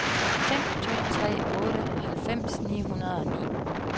fem to tre otte halvfems ni hundrede og ni